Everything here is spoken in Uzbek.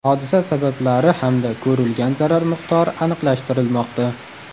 Hodisa sabablari hamda ko‘rilgan zarar miqdori aniqlashtirilmoqda.